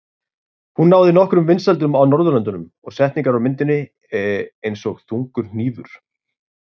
Hún náði nokkrum vinsældum á Norðurlöndunum og setningar úr myndinni, eins og Þungur hnífur?